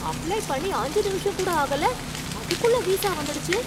Apply பண்ணி அஞ்சு நிமிஷம் கூட ஆகல. அதுக்குள்ள வீசா வந்துடுச்சு!